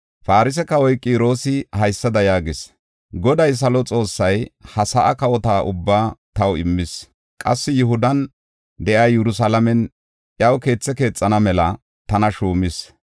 Farse kawoy Qiroosi haysada yaagees; “Goday, salo Xoossay ha sa7aa kawotethata ubbaa taw immis. Qassi Yihudan de7iya Yerusalaamen iyaw keethe keexana mela tana shuumis.